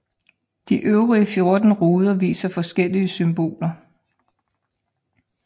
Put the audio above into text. De øvrige 14 ruder viser forskellige symboler